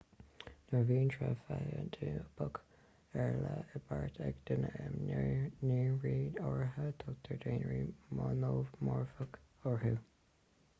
nuair a bhíonn tréith feinitíopach ar leith i bpáirt ag gach duine i ndaonra áirithe tugtar daonra monómorfach orthu